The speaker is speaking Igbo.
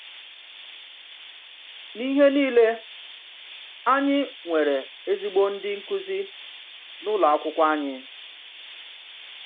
N’íhè niilè, ányị̀ nwèrè èzígbò ndị́ nkụ́zì n’ùlọ̀ àkwụ́kwọ̀ ányị̀.